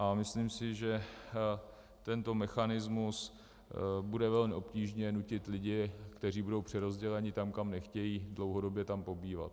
A myslím si, že tento mechanismus bude velmi obtížně nutit lidi, kteří budou přerozděleni tam, kam nechtějí, dlouhodobě tam pobývat.